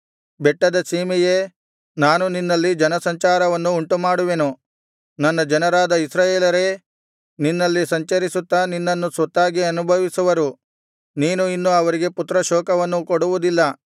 ಬೆಟ್ಟದ ಸೀಮೆಯೇ ನಾನು ನಿನ್ನಲ್ಲಿ ಜನ ಸಂಚಾರವನ್ನು ಉಂಟುಮಾಡುವೆನು ನನ್ನ ಜನರಾದ ಇಸ್ರಾಯೇಲರೇ ನಿನ್ನಲ್ಲಿ ಸಂಚರಿಸುತ್ತಾ ನಿನ್ನನ್ನು ಸ್ವತ್ತಾಗಿ ಅನುಭವಿಸುವರು ನೀನು ಇನ್ನು ಅವರಿಗೆ ಪುತ್ರ ಶೋಕವನ್ನು ಕೊಡುವುದಿಲ್ಲ